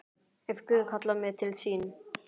Ef Guð kallar mig til sín.